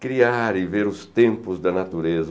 Criar e ver os tempos da natureza.